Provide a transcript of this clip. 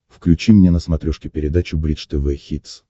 включи мне на смотрешке передачу бридж тв хитс